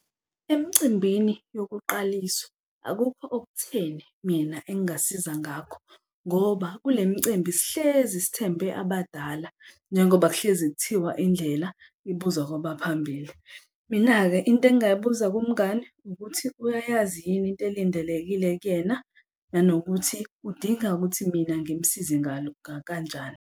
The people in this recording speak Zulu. Emcimbini yokuqaliswa akukho okutheni mina engingasiza ngakho ngoba kule micimbi sihlezi sithembe abadala njengoba kuhlezi kuthiwa indlela ibuzwa kwabaphambili. Mina-ke into engingayibuza kumngani ukuthi uyayazi yini into elindelekile kuyena nanokuthi udinga ukuthi mina ngimsize ngalo kanjani.